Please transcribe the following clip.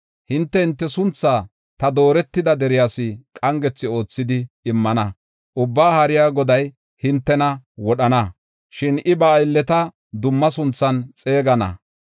Hinte, hinte sunthaa ta dooretida deriyas qangethi oothidi immana. Ubbaa Haariya Goday hintena wodhana; shin I ba aylleta dumma sunthan xeegana.